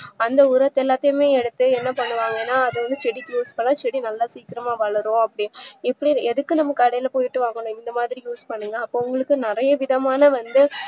அந்த உரத்த எல்லாமே எடுத்துஎன்னா பண்ணுவாங்கனா அத வந்து செடிக்கு use பண்ணா செடி நல்லா வளரும் அப்டின்னு எதுக்கு நம்ம கடைல போயிட்டு அவ்வளவு இந்தமாறி use பண்ணுங்க அப்போ உங்களுக்குநறைய விதமான வந்து